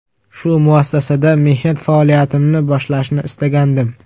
Shu muassasada mehnat faoliyatimni boshlashni istagandim.